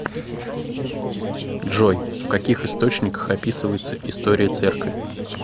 джой в каких источниках описывается история церкви